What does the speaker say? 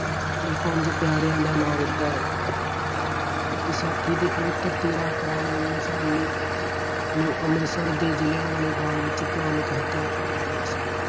ਨੂੰ ਪੰਜ ਪਿਆਰਿਆਂ ਦਾ ਨਾਂ ਦਿੱਤਾ। ਵਿਸਾਖੀ ਦੇ ਪਵਿੱਤਰ ਤੇਰਾਂ ਅਪ੍ਰੈਲ ਉੱਨੀ ਸੌ ਉੱਨੀ ਨੂੰ ਅੰਮ੍ਰਿਤਸਰ ਦੇ ਜ਼ਲਿਆਵਾਲੇ ਬਾਗ ਵਿੱਚ ਭਿਆਨਕ ਹੱਤਿਆਕਾਂਡ ਹੋਇਆ ਸੀ।